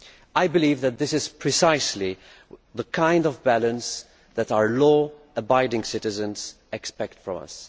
I believe that this is precisely the kind of balance that our law abiding citizens expect from us.